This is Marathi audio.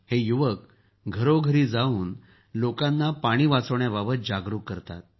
हे युवक घरोघरी जाऊन लोकांना पाणी वाचवण्याविषयक जागरूक करतात